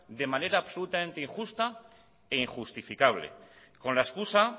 de manera absolutamente injusta e injustificable con la excusa